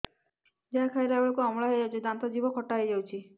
ଯାହା ଖାଇଲା ବେଳକୁ ଅମ୍ଳ ହେଇଯାଉଛି ଦାନ୍ତ ଜିଭ ଖଟା ହେଇଯାଉଛି